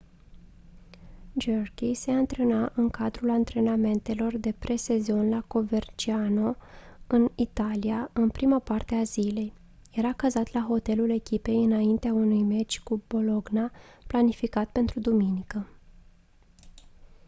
jarque se antrena în cadrul antrenamentelor de pre-sezon la coverciano în italia în prima parte a zilei era cazat la hotelul echipei înaintea unui meci cu bologna planificat pentru duminică